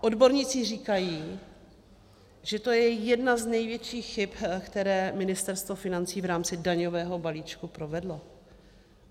Odborníci říkají, že to je jedna z největších chyb, které Ministerstvo financí v rámci daňového balíčku provedlo.